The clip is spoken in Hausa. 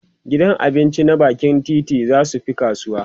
gidan abinci na bakin titi zasu Fi kasuwa